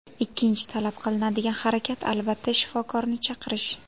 Ikkinchi talab qilinadigan harakat, albatta, shifokorni chaqirish.